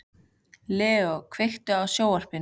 Leo, kveiktu á sjónvarpinu.